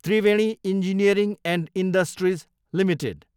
Triveni engineering and industries Ltd